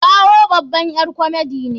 Taiwo babar ƴar komedi ne.